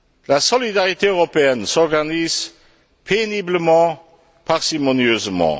La solidarité européenne s'organise péniblement, parcimonieusement.